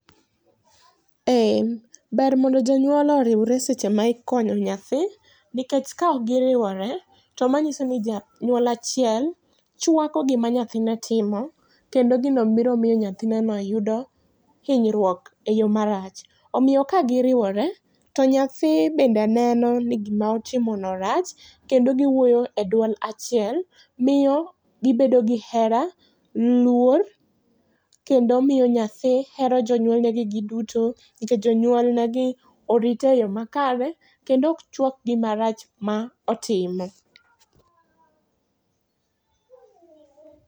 Ee ber mondo jonyuol oriwre seche ma ikonyo nyathi nikech ka ok gi riwre to ma ng'iso ni janyuol achiel chwako gi ma nyathi ne timo kendo gi no biro miyo nyathine no yudo inyruok e yo ma rach omiyo ka gi riwre to be nyathi neno ni gi ma otimo no rach kendo gi wuotho e duond achiel kendo miyo gi bedo gi hera, luor, kendo miyo nyathi hero jonyuol gi ji duto nikech jonyuol ne gi orite e yo makare kendo ok chwak gi ma rach ma otime.